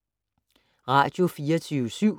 Radio24syv